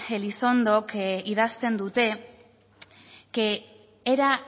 elizondok idazten dute que era